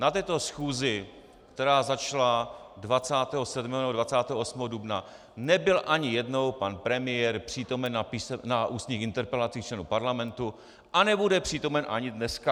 Na této schůzi, která začala 27. nebo 28. dubna, nebyl ani jednou pan premiér přítomen na ústních interpelacích členů Parlamentu a nebude přítomen ani dneska.